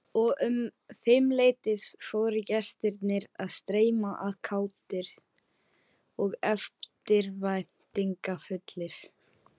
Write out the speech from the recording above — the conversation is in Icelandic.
Og um fimmleytið fóru gestirnir að streyma að, kátir og eftirvæntingarfullir.